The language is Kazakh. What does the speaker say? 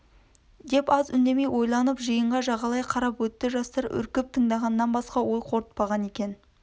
деп аз үндемей ойланып жиынға жағалай қарап өтті жастар үркіп тыңдағаннан басқа ой қорытпаған екен